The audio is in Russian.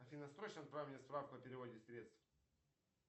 афина срочно отправь мне справку о переводе средств